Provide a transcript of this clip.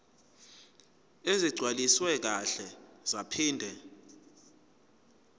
ezigcwaliswe kahle zaphinde